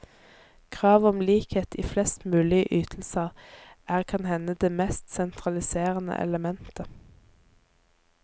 Kravet om likhet i flest mulige ytelser er kan hende det mest sentraliserende elementet.